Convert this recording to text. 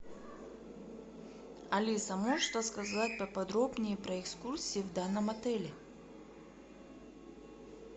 алиса можешь рассказать поподробнее про экскурсии в данном отеле